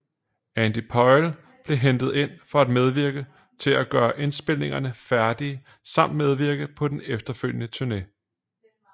Andy Pyle blev hentet ind for at medvirke til at gøre indspilningerne færdige samt medvirke på den efterfølgende turné